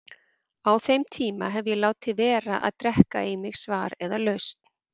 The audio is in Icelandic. Á þeim tíma hef ég látið vera að drekka í mig svar eða lausn.